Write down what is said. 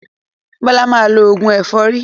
Bọ́lá máa lọ òògùn ẹ̀fọ́rí.